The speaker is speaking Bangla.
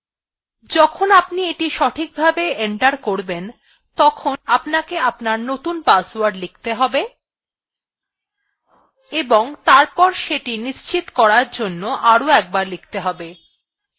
যখন আপনি এটি সঠিকভাবে enter করবেন তখন আপনাকে আপনার নতুন password লিখতে have এবং তারপর সেটি নিশ্চিত করার জন্য আরো একবার লিখতে have